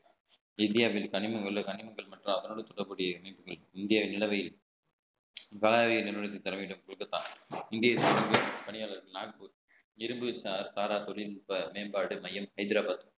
இந்தியாவில் தனிமையுள்ள கனிமங்கள் மற்றும் அதனோடு இணைப்புகள் இங்கே நிலவையில் தர வேண்டும் இந்திய பணியாளர்கள் இரும்பு சாரா தொழில்நுட்ப மேம்பாடு மையம் ஹைதராபாத்